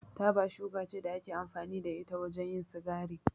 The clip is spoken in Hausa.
Taba shuka ce da ake amfani da ita wajen yin sigari.